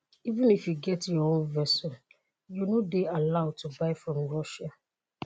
"even if you get your own vessel you no dey allowed to buy from russia.